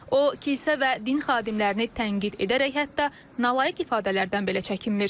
O kilsə və din xadimlərini tənqid edərək hətta nalayiq ifadələrdən belə çəkinmir.